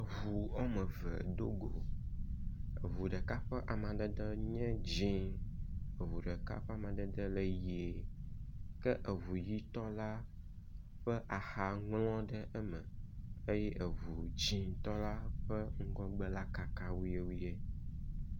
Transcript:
Ŋu wɔme ve do go. Eŋu ɖeka ƒe amadede nye dzi. Eŋu ɖeka ƒe amadede le ʋi ke eŋu ʋi tɔ la ƒe axa ŋlɔ ɖe eme eye eŋu dzi tɔ la ƒe ŋgɔgbe kaka wuyewuye.